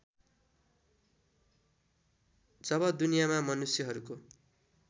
जब दुनियाँमा मनुष्यहरूको